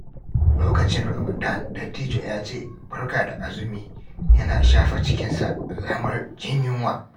Lokacin Ramadan, dattijo ya ce "Barka da azumi" yana shafa cikinsa alamar jin yunwa.